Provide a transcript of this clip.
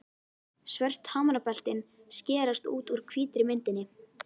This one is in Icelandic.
Svört hamrabeltin skerast út úr hvítri myndinni.